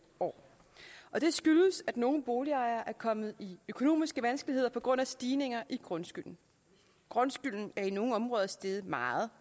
år og det skyldes at nogle boligejere er kommet i økonomiske vanskeligheder på grund af stigninger i grundskylden grundskylden er i nogle områder steget meget